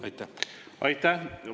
Aitäh!